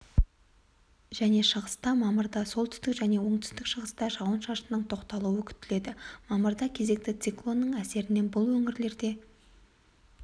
және шығыста мамырда солтүстік және оңтүстік-шығыста жауын-шашынның тоқталуы күтіледі мамырда кезекті циклонның әсерінен бұл өңірлерде